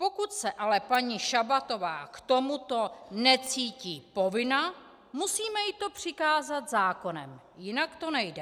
Pokud se ale paní Šabatová k tomuto necítí povinna, musíme jí to přikázat zákonem, jinak to nejde.